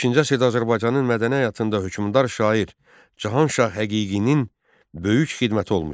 15-ci əsrdə Azərbaycanın mədəni həyatında hökmdar şair Cahanshah Həqiqinin böyük xidməti olmuşdu.